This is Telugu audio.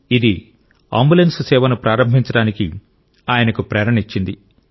ఇది అంబులెన్స్ సేవను ప్రారంభించడానికి ఆయనకు ప్రేరణనిచ్చింది